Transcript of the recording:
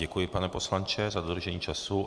Děkuji, pane poslanče, za dodržení času.